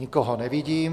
Nikoho nevidím.